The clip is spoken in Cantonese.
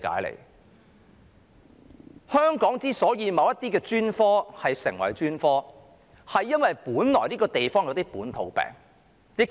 在香港，某些專科成為專科，是因為這個地方出現的一些本土病。